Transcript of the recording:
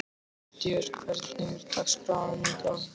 Mattías, hvernig er dagskráin í dag?